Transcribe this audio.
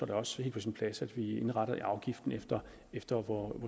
det også helt på sin plads at vi indretter afgiften efter efter hvor